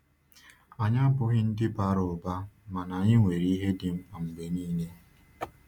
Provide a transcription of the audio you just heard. Anyị abụghị ndị bara ụba, bara ụba, ma anyị nwere ihe dị mkpa mgbe niile.